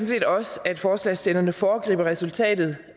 set også at forslagsstillerne foregriber resultatet